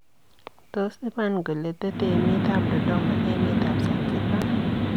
Tos iman kole tete emet ab Dodoma emet ab Zanzibar.